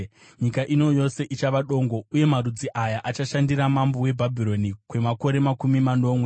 Nyika ino yose ichava dongo, uye marudzi aya achashandira mambo weBhabhironi kwemakore makumi manomwe.